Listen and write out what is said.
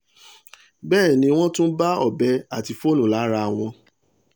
bẹ́ẹ̀ ni wọ́n tún bá ọbẹ̀ àti fóònù lára wọn